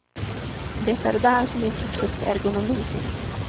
Det är där som intresset för ergonomi finns.